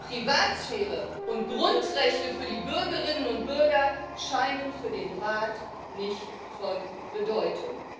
Privatsphäre und Grundrechte für die Bürgerinnen und Bürger scheinen für den Rat nicht von Bedeutung.